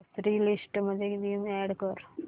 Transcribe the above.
grocery list मध्ये Vim add कर